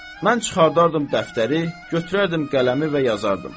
Mən çıxardardım dəftəri, götürərdim qələmi və yazardım.